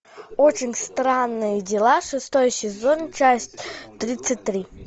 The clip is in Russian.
очень странные дела шестой сезон часть тридцать три